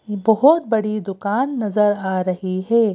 ये बहोत बड़ी दुकान नजर आ रही है।